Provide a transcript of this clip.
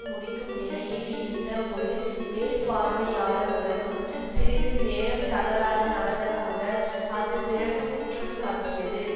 முடிக்கும் நிலையில் இருந்த ஒரு மேற்பார்வையாளருடனும் சிறிது நேரம் தகராறு நடந்ததாக அது பிறகு குற்றம் சாட்டியது